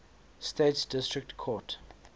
states district court